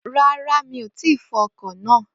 Ràrà, mí ò tí fọ ọkọ̀ náà